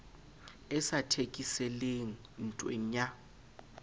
e sa thekeseleng ntweng ya